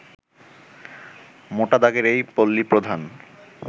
মোটা দাগের এই পল্লিপ্রধান